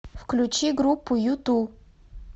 включи группу юту